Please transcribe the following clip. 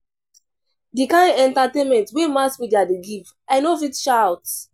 Di kain entertainment wey mass media dey give, I no fit shout.